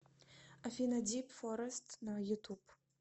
афина дип форест на ютуб